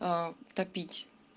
топить